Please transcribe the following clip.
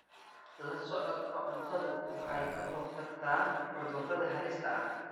La socodka cuntadu waxay ka hortagtaa cudurrada halista ah.